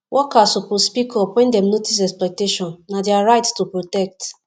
workers suppsoe speak up wen dem notice exploitation na dia rights to protect